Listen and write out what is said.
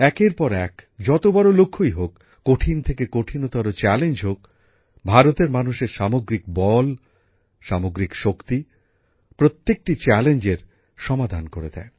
একের পর এক যত বড় লক্ষ্যই হোক কঠিন থেকে কঠিনতর চ্যালেঞ্জ হোক ভারতের মানুষের সামগ্রিক বল সামগ্রিক শক্তি প্রত্যেকটি চ্যালেঞ্জের সমাধান করে দেয়